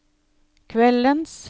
kveldens